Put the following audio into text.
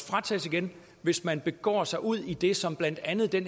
frataget igen hvis man begår sig udi det som blandt andet det